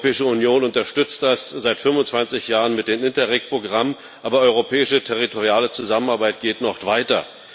Die Europäische Union unterstützt das seit 25 Jahren mit dem Interreg Programm, aber europäische territoriale Zusammenarbeit geht noch weiter.